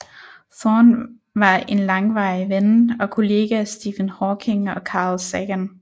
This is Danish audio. Thorne var en langvarig ven og kollega af Stephen Hawking og Carl Sagan